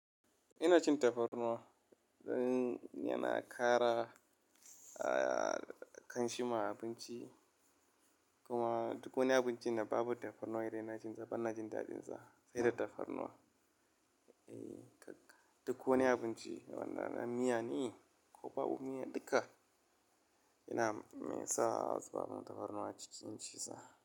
Ina cin tafarnuwa, zan yana kara kanshi ma abinci kuma duk wani abinci da babu tafarnuwa idan ina cin sa, ban na jin daɗinsa sai da tafarnuwa. Eh, duk wani abinci, wannan miya ne ko babu miya duka, yana sa baban tafarnuwa cikin ciza.